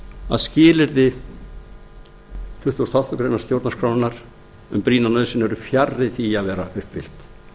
að skilyrði tuttugasta og áttundu grein stjórnarskrárinnar um brýna nauðsyn eru fjarri því að vera uppfyllt